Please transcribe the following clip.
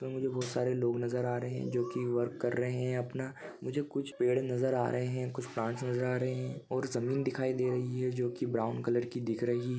तो मुझे बहुत सारे लोग नजर आ रहे है जो कि वर्क कर रहे है अपना मुझे कुछ पेड़ नजर आ रहे है कुछ प्लांट्स नजर आ रहा है और जमीन दिखाई दे रही है जो कि ब्राउन कलर की दिख रही है।